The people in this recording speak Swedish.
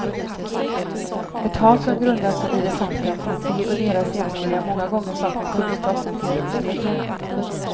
Ett hat som grundar sig i det faktum att de och deras jämnåriga många gånger saknar kunskap om fotbollsreglerna.